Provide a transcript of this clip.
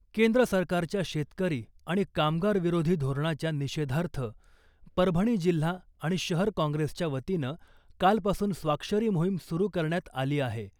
केंद्र सरकारच्या शेतकरी आणि कामगार विरोधी धोरणाच्या निषेधार्थ परभणी जिल्हा आणि शहर काँग्रेसच्या वतीनं कालपासून स्वाक्षरी मोहीम सुरू करण्यात आली आहे .